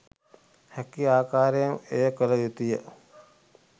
හැකි ආකාරයෙන් එය කළ යුතුය.